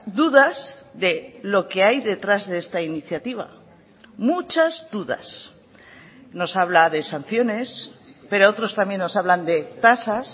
dudas de lo que hay detrás de esta iniciativa muchas dudas nos habla de sanciones pero otros también nos hablan de tasas